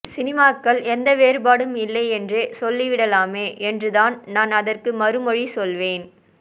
சினிமாக்கள்எந்த வேறுபாடும் இல்லை என்றே சொல்லிவிடலாமே என்றுதான் நான் அதற்கு மறுமொழி சொல்வேன்